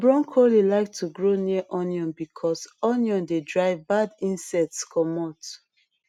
brocolli like to grow near onion because onion dey drive bad insects commot